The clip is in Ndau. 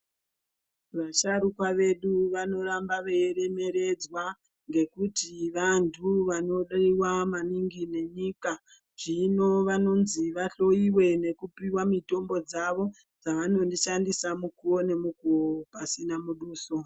Vasharukwa vedu vanoramba veiremeredzwa ngekuti vanhu vanodiwa maningi nenyika. Zvino vanonzi vahloyiwe nekupiwa mitombo dzavo dzavanoshandisa mukuwo nemukuwo pasina muduso.